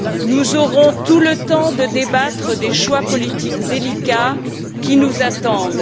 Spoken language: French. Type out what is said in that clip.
Nous aurons tout le temps de débattre des choix politiques délicats qui nous attendent.